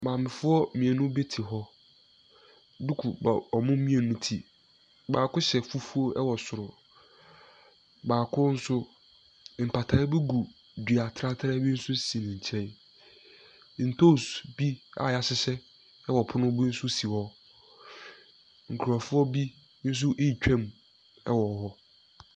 Maamefoɔ mmienu bi te hɔ. Duku bɔ wɔn mmienu ti. Baako hyɛ fufuo wɔ soro. Baako nso, mpataa bi gu dua tratra bi so si ne nkyɛn. Ntoos bi a wɔahyehyɛ wɔ pono bi nso si hɔ. Nkurɔfoɔ bi nso retwam wɔ hɔ.